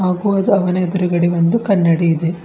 ಹಾಗೂ ಅದು ಅವನ ಎದುರುಗಡೆ ಒಂದು ಕನ್ನಡಿಯಿದೆ.